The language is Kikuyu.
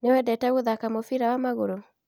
Nĩwendete gũthaka mũbira wa magũrũ?